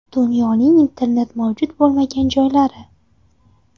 Dunyoning internet mavjud bo‘lmagan joylari.